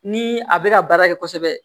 Ni a bɛ ka baara kɛ kosɛbɛ